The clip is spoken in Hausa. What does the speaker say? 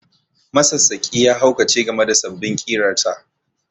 Masassaƙi ya haukace game da sabbin ƙirarsa